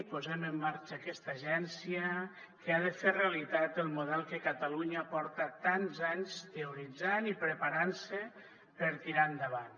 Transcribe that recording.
posem en marxa aquesta agència que ha de fer realitat el model pel que catalunya porta tants anys teoritzant i preparant se per tirar endavant